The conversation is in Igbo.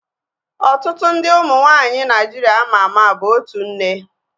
Ọtụtụ ndị ụmụ nwaanyị Naịjiria ama ama bụ otu nne